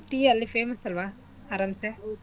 Tea ಅಲ್ಲಿ famous ಅಲ್ವಾ ಅರಾಂಸೆ.